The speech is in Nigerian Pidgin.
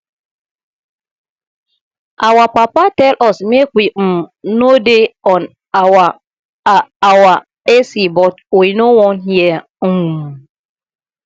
our papa tell us make we um no dey on our a our a c but we no wan hear um